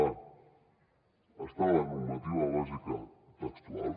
a està a la normativa bàsica textual